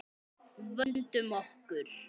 Vöndum okkur.